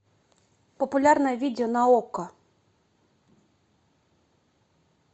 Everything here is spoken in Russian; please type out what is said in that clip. популярное видео на окко